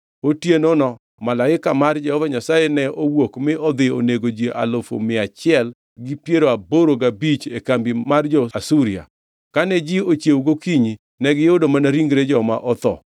Otienono malaika mar Jehova Nyasaye ne owuok mi odhi onego ji alufu mia achiel gi piero aboro gabich e kambi mar jo-Asuria. Kane ji ochiewo gokinyi negiyudo mana ringre joma otho.